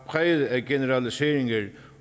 præget af generaliseringer